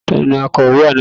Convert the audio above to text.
Ta ni akawó àná yẹn?